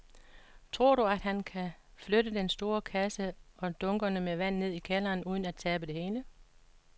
Tror du, at han kan flytte den store kasse og dunkene med vand ned i kælderen uden at tabe det hele?